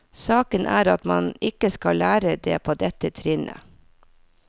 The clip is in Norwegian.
Saken er at man ikke skal lære det på dette trinnet.